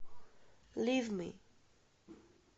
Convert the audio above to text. лив ми